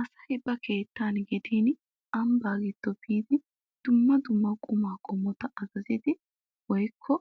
Asay ba keettan gidin ambbaa giddo biidi dumma dumma qumaa qommota azazidi woykko